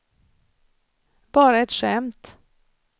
bara ett skämt